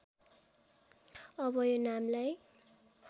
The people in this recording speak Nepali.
अब यो नामलाई